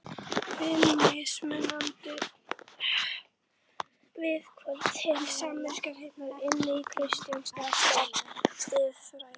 FIMM MISMUNANDI VIÐHORF TIL SAMKYNHNEIGÐAR INNAN KRISTINNAR SIÐFRÆÐI